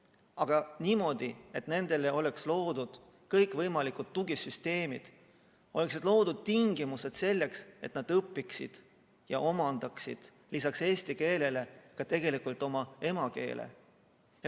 Aga õpiksid niimoodi, et nendele oleksid loodud kõikvõimalikud tugisüsteemid, oleksid loodud tingimused selleks, et nad õpiksid ja omandaksid lisaks eesti keelele ka oma emakeele.